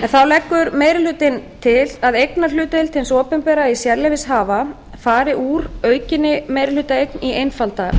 þá leggur meiri hlutinn til að eignarhlutdeild hins opinbera í sérleyfishafa fari úr aukinni meirihlutaeign í einfalda meirihlutaeign